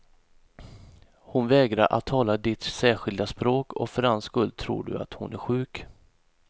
Hon vägrar att tala ditt särskilda språk, och för den skull tror du att hon är sjuk.